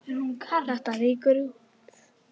Þetta rýkur út.